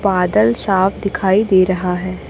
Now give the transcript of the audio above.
बादल साफ दिखाई दे रहा है।